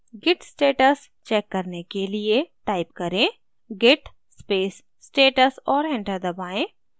git status check करने के लिए type करें git space status और enter दबाएँ